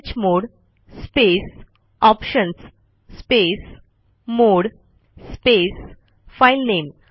chmod space options space mode space filename